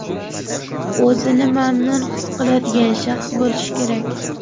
o‘zini mamnun his qiladigan shaxs bo‘lishi kerak!.